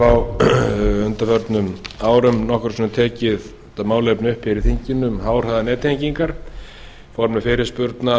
hef á undanförnum árum nokkrum sinnum tekið þetta málefni upp hér í þinginu um háhraðanettengingar í formi fyrirspurna og